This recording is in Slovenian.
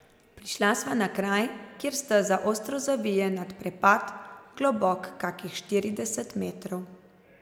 Prišla sva na kraj, kjer steza ostro zavije nad prepad, globok kakih štirideset metrov.